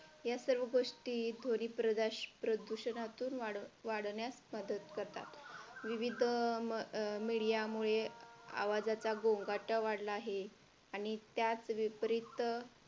या सर्व गोष्टी दोन्ही प्रदूषणातून वाढण्यास मदत करतात विविध media आवाजाचा गोंगा वाढलेला आहे आणि त्याच विपरीत